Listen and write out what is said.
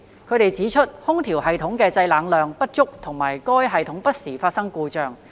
他們指出，空調系統的製冷量不足和該系統不時發生故障。